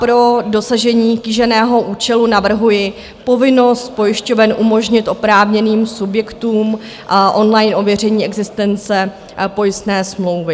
Pro dosažení kýženého účelu navrhuji povinnost pojišťoven umožnit oprávněným subjektům online ověření existence pojistné smlouvy.